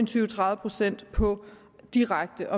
tyve og tredive procent på direkte